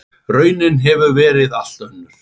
Raunin hefur verið allt önnur.